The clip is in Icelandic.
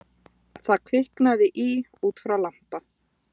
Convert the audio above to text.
Þarna kviknaði í út frá lampa